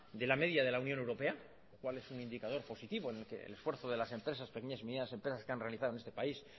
de la media de la unión europea lo cual es un indicador positivo en el esfuerzo de las empresas pequeñas y medianas empresas que han realizado en este país